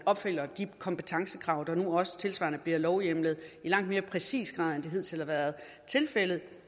opfylder de kompetencekrav der nu også tilsvarende bliver lovhjemlet i langt mere præcis grad end det hidtil har været tilfældet